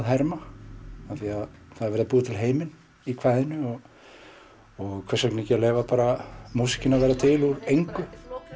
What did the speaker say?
herma því það er verið að búa til heiminn í kvæðinu og hvers vegna ekki að leyfa músíkinni að verða til úr engu